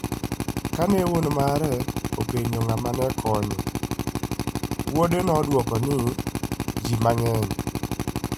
Kane wuon mare openjo ng'ama ne konyo, wuode nodwoke ni, "Ji mang'eny".